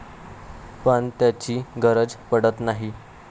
पण त्याची गरज पडत नाही.